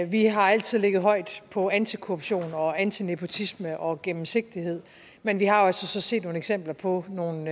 vi har altid ligget højt på antikorruption og antinepotisme og genemsigtighed men vi har altså så set nogle eksempler på nogle